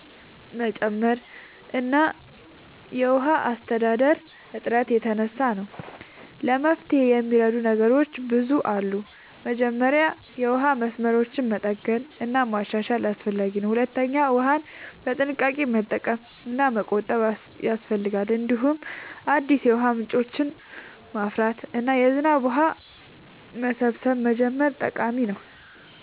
መጨመር እና ከውሃ አስተዳደር እጥረት የተነሳ ነው። ለመፍትሄ የሚረዱ ነገሮች ብዙ አሉ። መጀመሪያ የውሃ መስመሮችን መጠገን እና ማሻሻል አስፈላጊ ነው። ሁለተኛ ውሃን በጥንቃቄ መጠቀም እና መቆጠብ ያስፈልጋል። እንዲሁም አዲስ የውሃ ምንጮችን ማፍራት እና የዝናብ ውሃ መሰብሰብ መጀመር ጠቃሚ ነው።